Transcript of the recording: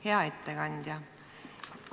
Hea ettekandja!